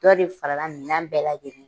Dɔ de fara la minɛn bɛɛ lajɛlen